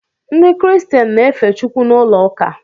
Ndị kiristian na-efe Chukwu n’ulouka